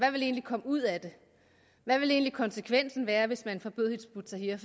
komme ud af det hvad ville konsekvensen egentlig være hvis man forbød hizb ut tahrir